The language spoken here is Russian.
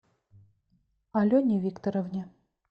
алене викторовне